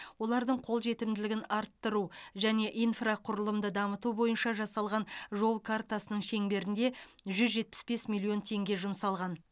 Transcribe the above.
олардың қолжетімділігін арттыру және инфрақұрылымды дамыту бойынша жасалған жол картасының шеңберінде жүз жетпіс бес миллион теңге жұмсалған